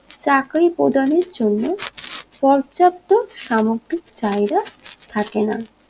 চাকরি প্রদানের জন্য পর্যাপ্ত সামগ্রিক চাহিদা থাকে না